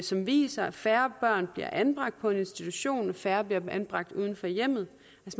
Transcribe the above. som viser at færre børn bliver anbragt på en institution og at færre bliver anbragt uden for hjemmet